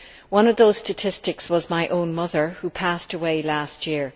One of those statistics was my own mother who passed away last year.